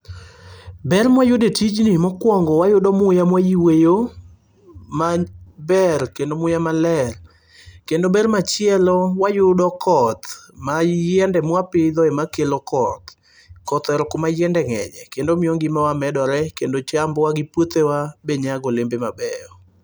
Ber mwayudo e tijni mokwongo wayudo muya mwayueyo maber kendo muya maler. Kendo ber machielo wayudo koth ma yiende mwapidho ema kelo koth. Koth ohero kuma yiende ng'enye kendo miyo ngimawa medore kendo chambwa gi puothewa be nyago olembe mabeyo.